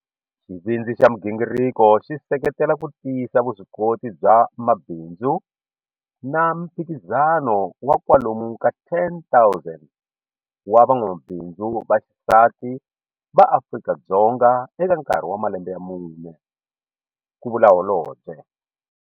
Xivindzi xa migingiriko xi seketela ku tiyisa vuswikoti bya mabindzu na miphikizano wa kwalomu ka 10 000 wa van'wamabindzu va xisati va Afrika-Dzonga eka nkarhi wa malembe ya mune, ku vula Holobye.